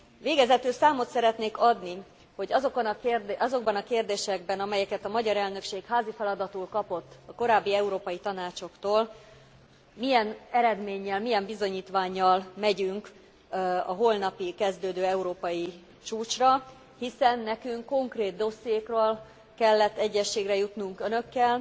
Végezetül számot szeretnék adni, hogy azokban a kérdésekben, amelyeket a magyar elnökség házi feladatul kapott a korábbi Európai Tanácsoktól, milyen eredménnyel, milyen bizonyítvánnyal megyünk a holnap kezdődő európai csúcsra, hiszen nekünk konkrét dossziékról kellett egyezségre jutnunk önökkel,